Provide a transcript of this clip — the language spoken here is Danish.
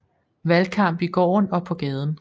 Valgkamp i gården og på gaden